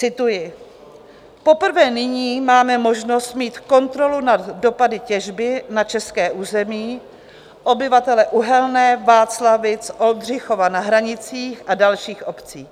Cituji: Poprvé nyní máme možnost mít kontrolu nad dopady těžby na české území, obyvatele Uhelné, Václavic, Oldřichova na Hranicích a dalších obcí.